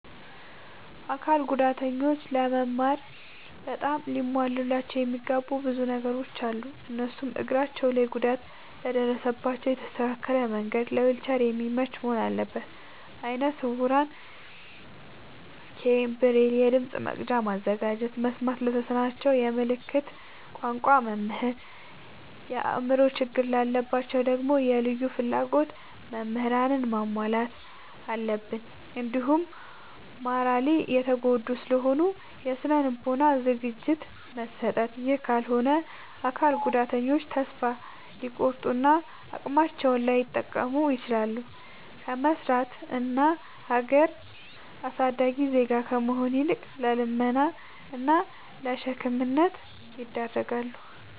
አካል ጉዳተኞች ለመማር በጣም ሊሟሉላቸው የሚገቡ ብዙ ነገሮ አሉ። እነሱም፦ እግራቸው ላይ ጉዳት ለደረሰባቸው የተስተካከለ መንድ ለዊልቸር የሚመች መሆን አለበት። ለአይነ ስውራን ኬይን፣ ብሬል፤ የድምፅ መቅጃ ማዘጋጀት፤ መስማት ለተሳናቸው የምልክት ቋንቋ መምህር፤ የአእምሮ ችግር ላለባቸው ደግሞ የልዩ ፍላጎት ምህራንን ማሟላት አለብትን። እንዲሁም ማራሊ የተጎዱ ስለሆኑ የስነ ልቦና ዝግጅት መስጠት። ይህ ካልሆነ አካል ጉዳተኞች ተሰፋ ሊቆርጡ እና አቅማቸውን ላይጠቀሙ ይችላሉ። ከመስራት እና ሀገር አሳዳጊ ዜጋ ከመሆን ይልቅ ለልመና እና ለሸክምነት ይዳረጋሉ።